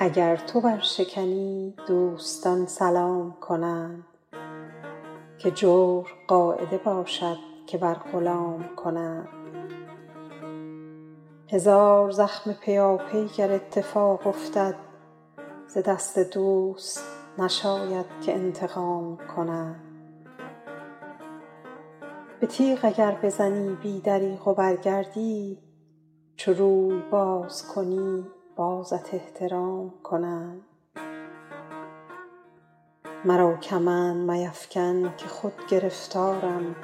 اگر تو برشکنی دوستان سلام کنند که جور قاعده باشد که بر غلام کنند هزار زخم پیاپی گر اتفاق افتد ز دست دوست نشاید که انتقام کنند به تیغ اگر بزنی بی دریغ و برگردی چو روی باز کنی بازت احترام کنند مرا کمند میفکن که خود گرفتارم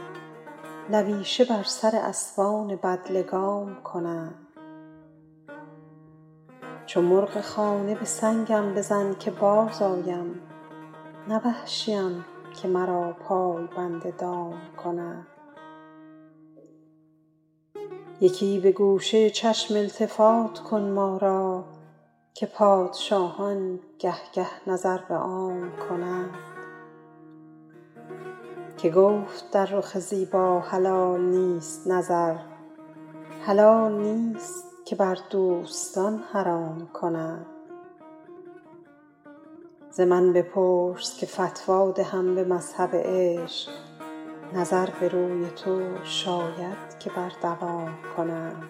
لویشه بر سر اسبان بدلگام کنند چو مرغ خانه به سنگم بزن که بازآیم نه وحشیم که مرا پای بند دام کنند یکی به گوشه چشم التفات کن ما را که پادشاهان گه گه نظر به عام کنند که گفت در رخ زیبا حلال نیست نظر حلال نیست که بر دوستان حرام کنند ز من بپرس که فتوی دهم به مذهب عشق نظر به روی تو شاید که بر دوام کنند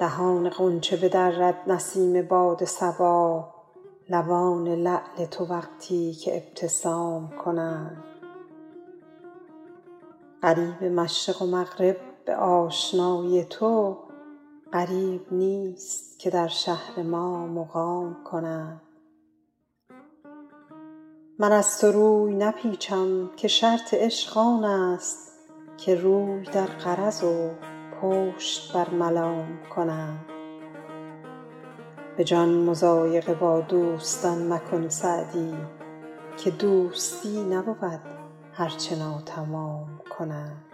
دهان غنچه بدرد نسیم باد صبا لبان لعل تو وقتی که ابتسام کنند غریب مشرق و مغرب به آشنایی تو غریب نیست که در شهر ما مقام کنند من از تو روی نپیچم که شرط عشق آن است که روی در غرض و پشت بر ملام کنند به جان مضایقه با دوستان مکن سعدی که دوستی نبود هر چه ناتمام کنند